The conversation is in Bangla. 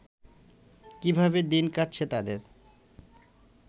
কীভাবে দিন কাটছে তাদের